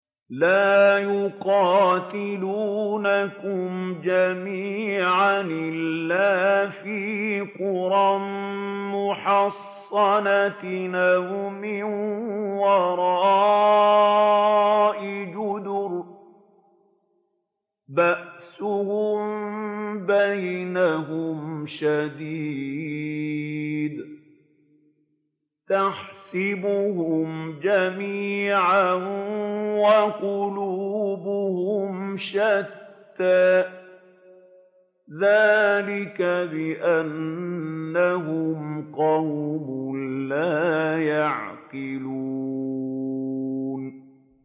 لَا يُقَاتِلُونَكُمْ جَمِيعًا إِلَّا فِي قُرًى مُّحَصَّنَةٍ أَوْ مِن وَرَاءِ جُدُرٍ ۚ بَأْسُهُم بَيْنَهُمْ شَدِيدٌ ۚ تَحْسَبُهُمْ جَمِيعًا وَقُلُوبُهُمْ شَتَّىٰ ۚ ذَٰلِكَ بِأَنَّهُمْ قَوْمٌ لَّا يَعْقِلُونَ